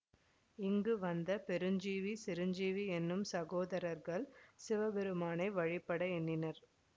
இங்கு வந்த பெருஞ்சீவி சிரஞ்சீவி என்னும் சகோதரர்கள் சிவபெருமானை வழிபட எண்ணினர்